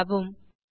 மூடவும்